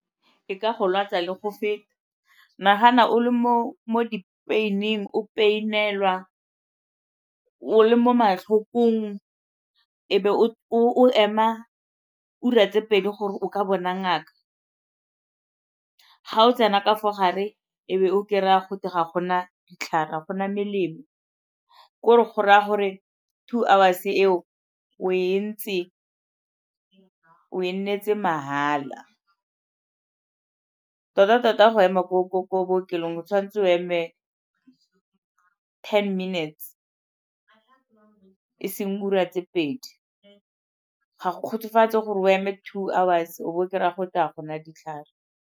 E ka go lwatsa le go feta. Nagana o le mo di-pain-ing, o pain-elwa, o le mo matlhokong e be o ema ura tse pedi gore o ka bona ngaka. Ga o tsena ka fo gare e be o kry-a gote ga gona ditlhare, ga gona melemo ke gore go raya gore two hours-e eo o e ntse, o e nnetse mahala. Tota-tota go ema ko bookelong o tshwanetse o eme ten minutes, e seng diura tse pedi. Ga go kgotsofatse gore o eme two hours-e o bo o kry-a gote ga gona ditlhare.